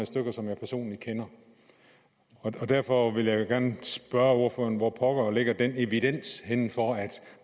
stykker som jeg personligt kender derfor vil jeg gerne spørge ordføreren hvor pokker ligger den evidens for at